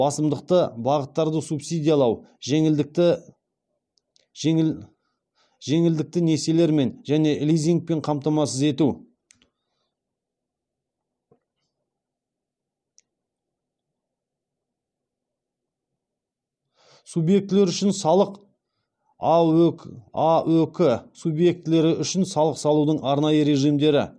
басымдықты бағыттарды субсидиялау жеңілдікті несиелермен және лизингпен қамтамасыз ету аөк субъектілері үшін салық салудың арнайы режимдері